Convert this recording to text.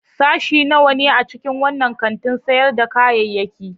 Sashe nawa ne a cikin wannan kantin sayar da kayayyaki?